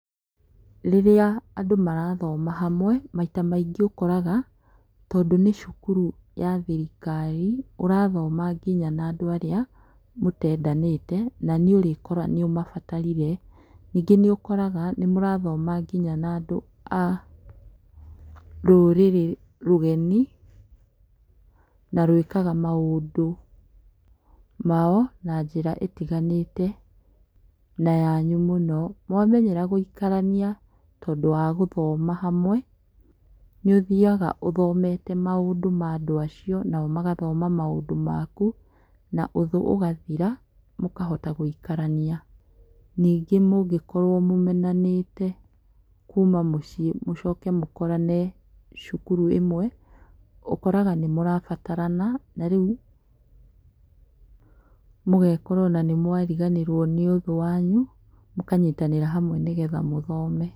Rĩrĩa andũ marathoma hamwe, ,maita maingĩ ũkoraga, tondũ nĩ cukuru ya thirikari, ũrathoma nginya na andũ arĩa mũteendanĩta na nĩ ũrĩ kora nĩũmabatarire. Ningĩ nĩ ũkoraga nĩ mũrathoma nginya na andũ a rũrĩrĩ rũgeni, na rwĩkaga maũndũ mao, na njĩra ĩtiganĩte, na yanyu mũno. Mwamenyera gũikarania tondũ wa gũthoma hamwe, nĩ ũthiaga ũthomete maũndũ ma andũ acio, nao magathoma maũndũ maku, na ũthũ ũgathira, mũkahota gũikarania. Ningĩ mũngĩkorwo mũmenanĩte kuuma mũciĩ mũcoke mũkorane cukuru ĩmwe, ũkoraga nĩ mũrabatarana na rĩu mũgeekora ona nĩ mwariganĩrwo nĩ ũthũ wanyu, mũkanyitanĩra hamwe nĩgetha mũthome.